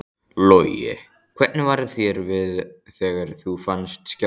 Logi: Hvernig var þér við þegar þú fannst skjálftann?